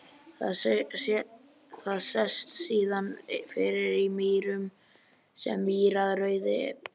Það sest síðan fyrir í mýrum sem mýrarauði.